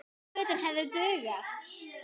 Fötin hefðu dugað.